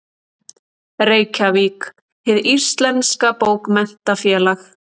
Reykjavík: Hið íslenska Bókmenntafélag.